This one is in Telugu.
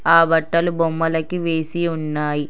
ఆ బట్టలు బొమ్మలకి వేసి ఉన్నాయి.